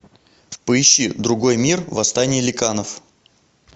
поищи другой мир восстание ликанов